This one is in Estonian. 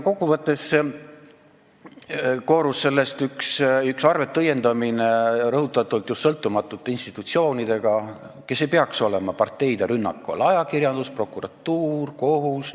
Kokkuvõttes koorus sellest üks arveteõiendamine just rõhutatult sõltumatute institutsioonidega, kes ei peaks olema parteide rünnaku all: ajakirjandus, prokuratuur, kohus.